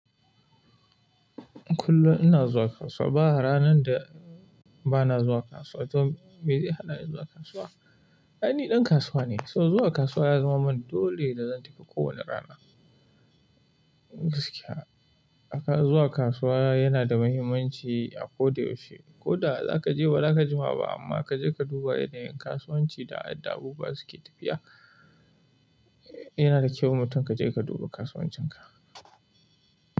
Kullum ina zuwa kasuwa, ba ranar da ba na zuwa kasuwa. To me zai hana ni zuwa kasuwa? Ni ɗan kasuwa ne, so zuwa kasuwa ya zama mani dole da zan tafi kowane rana. Gaskiya, zuwa kasuwa yana da muhimmanci a ko da yaushe. Ko da za ka je ba za ka ji ma ba amma ka je ka duba yanayin kasuwanci da yadda abubuwa suke tafiya. Yana da kyau mutum ka je ka duba kasuwancinka.